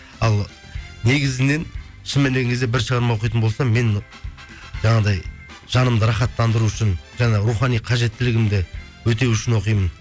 ал негізінен шын мәніне келген кезде бір шығарма оқитын болсам мен жаңағыдай жанымды рахаттандыру үшін жаңағы рухани қажеттілігімді өтеу үшін оқимын